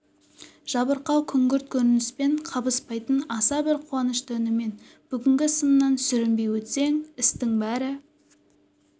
жабырқау күңгірт көрініспен қабыспайтын аса бір қуанышты үнімен бүгінгі сыннан сүрінбей өтсең істің бәрі